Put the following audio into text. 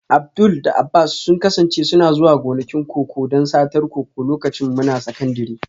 Abdul da Abbas sun kasance suna zuwa gonakin koko don satar koko lokacin muna sakandire